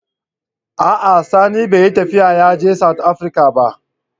A'a sani bai yi tafiya yaje "south Africa " ba.